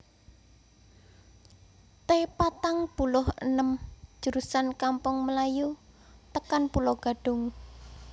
T patang puluh enem jurusan Kampung Melayu tekan Pulo Gadung